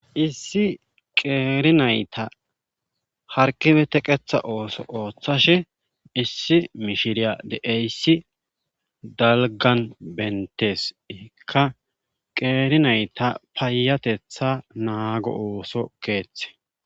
Issi qeeri nayta harkibe teqetha ooso ooththashe issi mishiriya de7eyssi dalgan benteska qeeri nayta paayatetha naago ooso keeththe